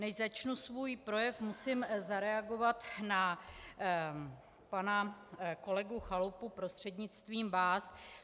Než začnu svůj projev, musím zareagovat na pana kolegu Chalupu, prostřednictvím vás.